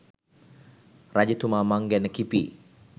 රජතුමා මං ගැන කිපී